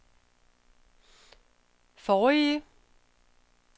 forrige